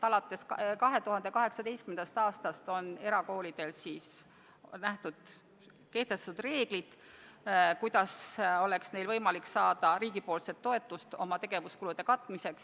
Alates 2018. aastast on erakoolidele kehtestatud reeglid, kuidas on neil võimalik saada riigipoolset toetust oma tegevuskulude katmiseks.